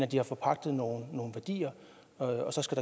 de har forpagtet nogle værdier og så skal